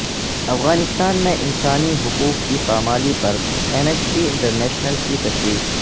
افغانستان میں انسانی حقوق کی پامالی پر ایمنسٹی انٹرنیشنل کی تشویش